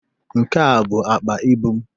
Nke a bụ akpa ịbụ m.